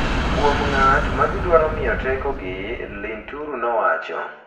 kuom ng’at ma gidwaro miyo tekogi,” Linturi nowacho.